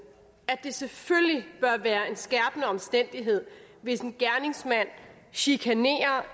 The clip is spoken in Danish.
at det selvfølgelig bør være en skærpende omstændighed hvis en gerningsmand chikanerer